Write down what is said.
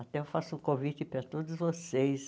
Até eu faço um convite para todos vocês.